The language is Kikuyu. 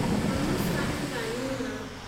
Mwana ũcio aretha nyina